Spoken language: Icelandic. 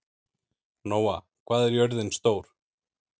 Nóa, hvað er jörðin stór?